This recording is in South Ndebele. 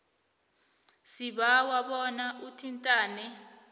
sibawa bona uthintane